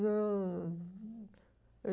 Não.